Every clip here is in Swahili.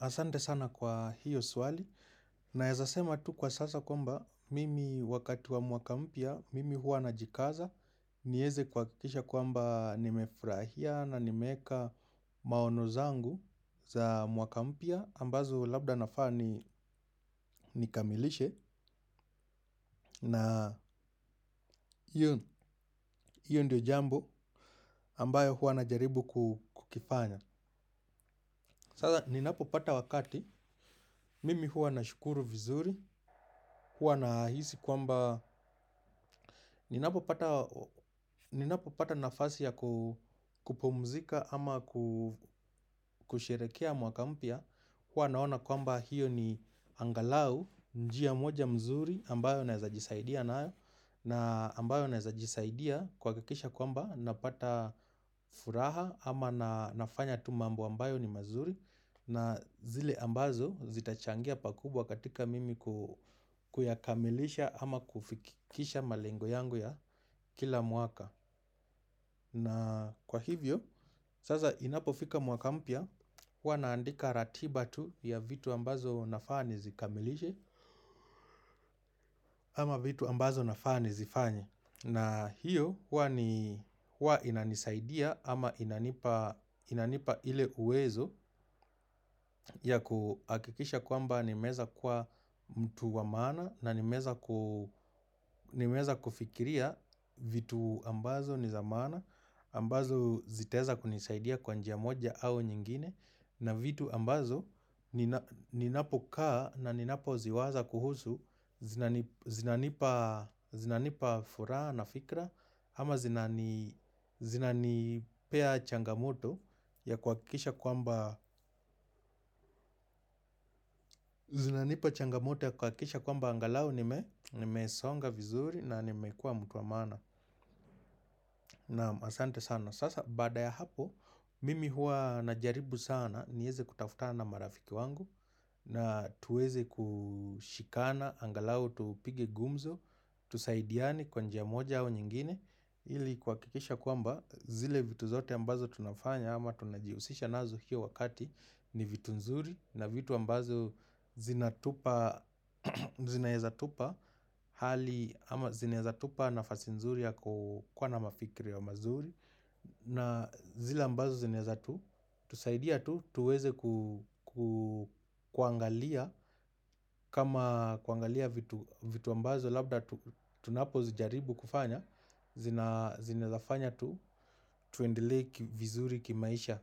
Asante sana kwa hiyo swali naeza sema tu kwa sasa kwamba mimi wakati wa mwaka mpya mimi huwa najikaza. Nieze kuhakikisha kwamba nimefurahia na nimeeka maono zangu za mwaka mpya ambazo labda nafaa ni nikamilishe. Na hiyo ndio jambo ambayo huwa najaribu kukifanya. Sasa ninapo pata wakati, mimi huwa nashukuru vizuri, huwa nahisi kwamba, ninapo pata nafasi ya kupumzika ama kusherehekea mwaka mpya, huwa naona kwamba hiyo ni angalau, njia moja mzuri ambayo naeza jisaidia nayo, na ambayo naeza jisaidia kuhakikisha kwamba napata furaha ama nafanya tu mambo ambayo ni mazuri. Na zile ambazo zitachangia pakubwa katika mimi kuyakamilisha ama kufikisha malengo yangu ya kila mwaka. Na kwa hivyo, sasa inapofika mwaka mpya, huwa naandika ratiba tu ya vitu ambazo nafaa nizikamilishe ama vitu ambazo nafaa nizifanye. Na hiyo ni huwa inanisaidia ama inanipa inanipa ile uwezo ya kuhakikisha kwamba nimeeza kuwa mtu wa maana na nimeeza kufikiria vitu ambazo ni za manaa, ambazo zitaeza kunisaidia kwa njia moja au nyingine na vitu ambazo ninapokaa na ninapoziwaza kuhusu, zinanipa zinanipa furaha na fikra ama zinanipea changamoto ya kuhakikisha kwamba zinanipea changamoto ya kuhakikisha kwamba angalau nimesonga vizuri na nimekuwa mtu wa maana. Naam asante sana, sasa baada ya hapo, mimi huwa najaribu sana, nieze kutafutana na marafiki wangu. Na tuweze kushikana, angalau tupige gumzo, tusaidiane kwa njia moja au nyingine ili kuhakikisha kwamba zile vitu zote ambazo tunafanya ama tunajihusisha nazo hiyo wakati ni vitu nzuri na vitu ambazo zinaeza tupa hali ama zinaeza tupa nafasi nzuri ya kukuwa na mafikiria mazuri. Na zile ambazo zinaeza tu, tusaidia tu, tuweze kuangalia kama kuangalia vitu ambazo labda tunapo zijaribu kufanya. Zinaezafanya tu, tuendele vizuri kimaisha.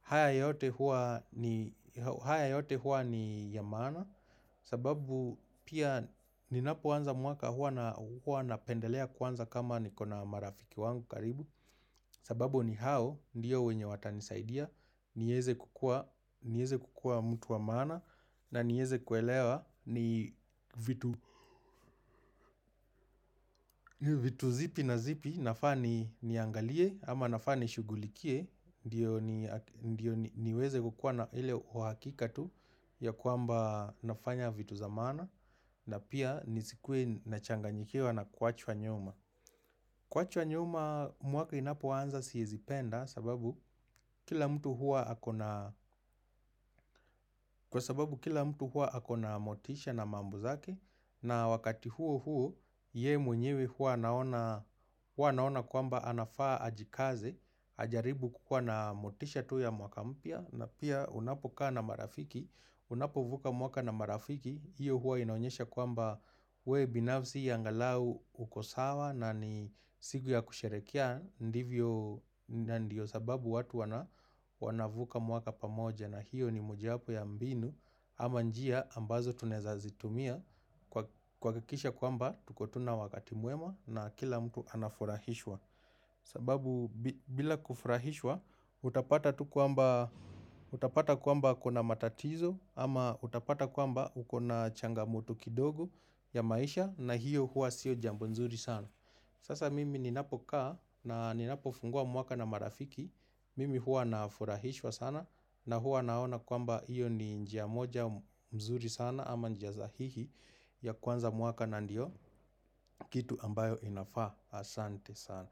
Haya yote huwa ni ya maana sababu pia ninapoanza mwaka huwa napendelea kuanza kama nikona marafiki wangu karibu. Sababu ni hao, ndiyo wenye watanisaidia, nieze kukua mtu wa maana na nieze kuelewa ni vitu zipi na zipi nafaa ni niangalie ama nafaa ni shughulikie. Ndiyo niweze kukuwa na ile uhakika tu ya kwamba nafanya vitu za maana na pia nisikuwe nachanganyikiwa na kuachwa nyuma. Kuachwa nyuma mwaka inapo anza siezi penda sababu kila mtu huwa akona motisha na mambo zake na wakati huo huo ye mwenyewe hua anaona naona kwamba anafaa ajikaze, ajaribu kukuwa na motisha tu ya mwaka mpya na pia unapokaa na marafiki, unapovuka mwaka na marafiki, hiyo huwa inaonyesha kwamba we binafsi angalau uko sawa na ni siku ya kusherehekea ndivyo ndio sababu watu wanavuka mwaka pamoja na hiyo ni mojawapo ya mbinu ama njia ambazo tunaeza zitumia kuhakikisha kwamba tuko tu na wakati mwema na kila mtu anafurahishwa. Sababu bila kufurahishwa utapata kwamba kuna matatizo ama utapata kwamba ukona changamoto kidogo ya maisha na hiyo huwa sio jambo nzuri sana. Sasa mimi ninapo kaa na ninapo fungua mwaka na marafiki mimi huwa nafurahishwa sana na hua naona kwamba hiyo ni njia moja mzuri sana ama njia sahihi ya kuanza mwaka na ndio kitu ambayo inafaa asante sana.